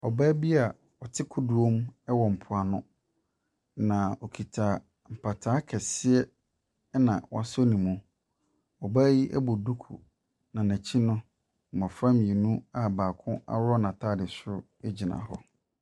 Ɔbaa bi a ɔte kodoɔ mu wɔ mpoano, na ɔkita mpataa kɛseɛ, ɛnna wasɔ ne mu. Ɔbaa yi bɔ duku, na n'akyi no, mmɔfra mmienu a baako aworɔ n'atade soro gyina hɔ.